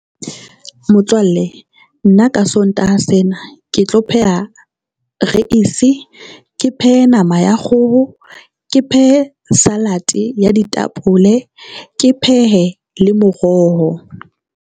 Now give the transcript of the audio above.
Motswalle nna ka Sontaha sena ke tlo pheha reisi, ke phehe nama ya kgoho, ke phehe salad ya ditapole, ke phehe le moroho.